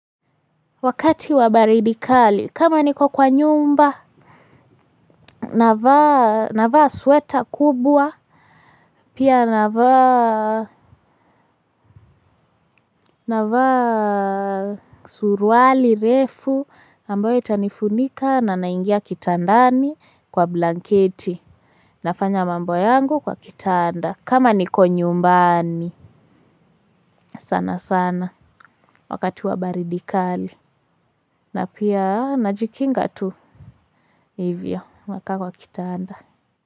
Wakati wa baridi kali kama niko kwa nyumba navaa na vaa sweater kubwa pia na vaa na vaa suruali refu ambayo itanifunika na naingia kitandani kwa blanketi nafanya mambo yangu kwa kitanda kama niko nyumbani sana sana wakati wa baridikali na pia najikinga tu hivyo nakaa kwa kitanda.